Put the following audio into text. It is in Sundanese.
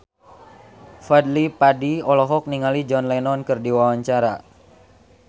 Fadly Padi olohok ningali John Lennon keur diwawancara